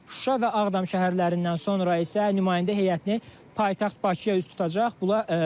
Şuşa və Ağdam şəhərlərindən sonra isə nümayəndə heyəti paytaxt Bakıya üz tutacaq.